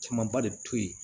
Camanba de bi to yen